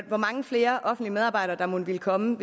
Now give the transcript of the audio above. hvor mange flere offentlige medarbejdere der mon ville komme